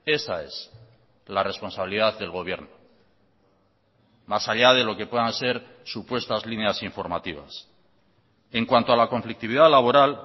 esa es la responsabilidad del gobierno más allá de lo que puedan ser supuestas líneas informativas en cuanto a la conflictividad laboral